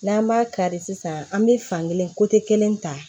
N'an b'a kari sisan an bɛ fan kelen kelen ta